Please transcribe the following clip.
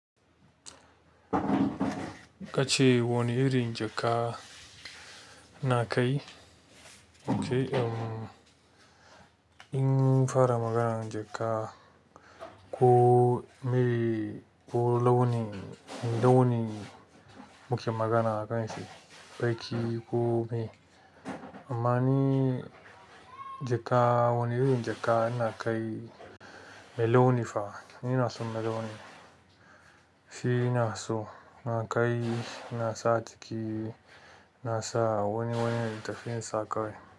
Ka ce wane irin jaka na kai? Okay, um, in fara maganan jaka, ko mere ko launin, launin muke magana a kan shi, baki ko me. Amma ni jaka, wani irin jaka na kai melonifa, ni ina son meloni. Shi na so na kai, na sa jiki, na sa wani littafin sa kai.